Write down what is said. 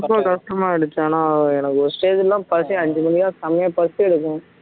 ரொம்ப கஷ்டமாயிடுச்சு ஆனா எனக்கு ஒரு stage எல்லாம் பசி அஞ்சு மணிக்கெல்லாம் செமையா பசி எடுக்கும்